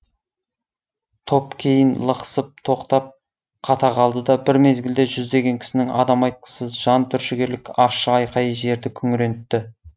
топ кейін лықсып тоқтап қата қалды да бір мезгілде жүздеген кісінің адам айтқысыз жан түршігерлік ащы айқайы жерді күңірентті